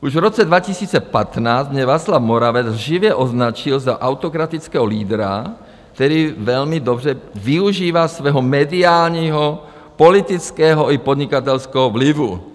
Už v roce 2015 mě Václav Moravec lživě označil za autokratického lídra, který velmi dobře využívá svého mediálního, politického i podnikatelského vlivu.